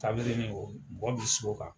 Tabalini o mɔgɔ bɛ sigi o kan.